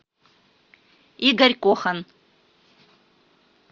игорь кохан